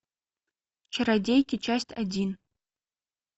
чародейки часть один